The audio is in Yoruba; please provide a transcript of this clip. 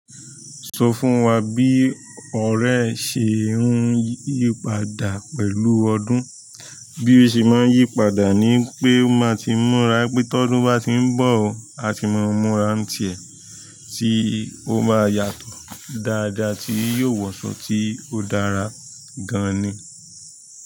Sọ fún wa bí ọ̀rẹ́ ṣe ń yípadà pẹ̀lú ọdún. Bí ọ̀sẹ̀ má n yípadà ní wípé, ó máa tí múra wípé todun ba ti nbo, a tí máa múra ntí e toma yàtọ̀ dáadáa tí yóò wọ aṣọ tí ó dára gan-an ní.